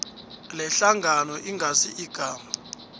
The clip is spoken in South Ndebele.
lehlangano ingasi igama